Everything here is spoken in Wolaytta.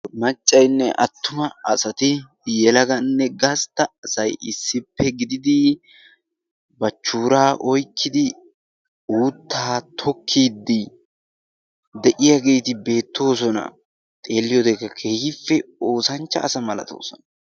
maccainne attuma asati yelaganne gastta asay issippe gididi bachchuuraa oyqqiidi outtaa tokkiiddi de'iyaageeti beettoosona xeelliyoodeekka kehiippe oosanchcha asa malatoosona